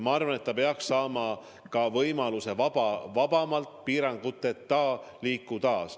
Ma arvan, et ta peaks saama võimaluse vabamalt, piiranguteta liikuda.